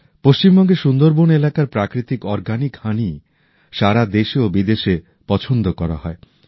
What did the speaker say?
পশ্চিমবঙ্গের সুন্দরবন এলাকার প্রাকৃতিক জৈব মধু সারা দেশে ও বিদেশে পছন্দ করা হয়